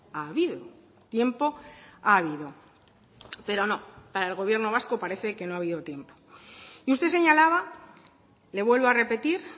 ha habido tiempo ha habido pero no para el gobierno vasco parece que no ha habido tiempo y usted señalaba le vuelvo a repetir